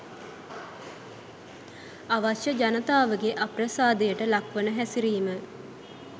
අවශ්‍ය ජනතාවගේ අප්‍රසාදයට ලක්වන හැසිරීම